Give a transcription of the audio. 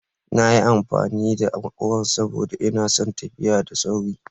Na yi amfani da maƙura saboda ina son tafiya da sauri.